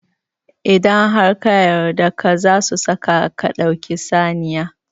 Idan har ka yarda ka, zasu saka ka dau saniya